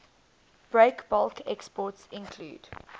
breakbulk exports include